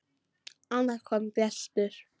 Annars kom gestur.